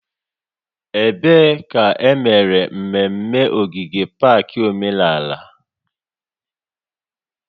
Ebee ka emere mmemme ogige pak omenala?